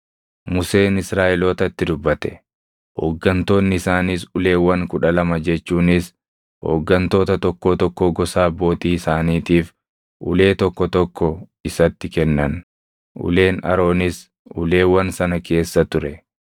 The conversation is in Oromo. Museen Israaʼelootatti dubbate; hooggantoonni isaaniis uleewwan kudha lama jechuunis hooggantoota tokkoo tokkoo gosa abbootii isaaniitiif ulee tokko tokko isatti kennan; uleen Aroonis uleewwan sana keessa ture.